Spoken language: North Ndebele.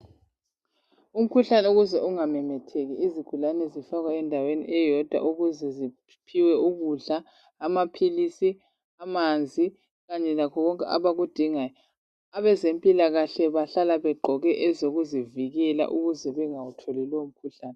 Umkhuhlane ukuze ungamemetheki, izigulane zifakwa endaweni eyodwa ukuze ziphiwe ukudla, amaphilisi, amanzi kanye lakho konke abakudingayo. Abezempila kahle bahlala begqoke ezokuzivikela ukuze bengawutholi lowo mkhuhlane.